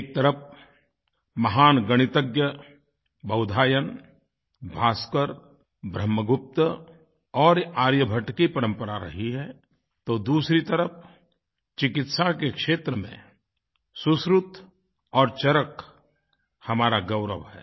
एक तरफ़ महान गणितज्ञ बोधायन भास्कर ब्रह्मगुप्त और आर्यभट्ट की परंपरा रही है तो दूसरी तरफ़ चिकित्सा के क्षेत्र में सुश्रुत और चरक हमारा गौरव हैं